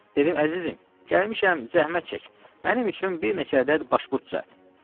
Dedim: əzizim, gəlmişəm zəhmət çək, mənim üçün bir neçə ədəd başpurt düzəlt.